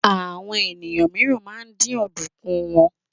Àwọn ènìyàn míìràn ma ń dín ọ̀dùnkún wọn.